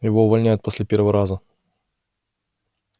его увольняют после первого раза